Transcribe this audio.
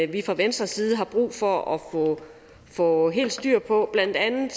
vi fra venstres side har brug for at få helt styr på blandt andet